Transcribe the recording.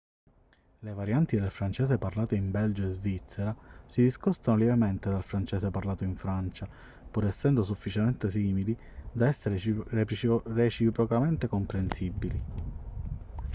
le varianti del francese parlate in belgio e svizzera si discostano lievemente dal francese parlato in francia pur essendo sufficientemente simili da essere reciprocamente comprensibili